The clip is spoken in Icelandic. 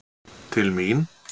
Til mín.